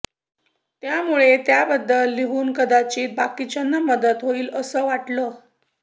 त्यामुळे त्याबद्दल लिहून कदाचित बाकीच्यांना मदत होईल असं वाटल